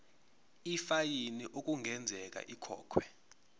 ifayini okungenzeka ikhokhwe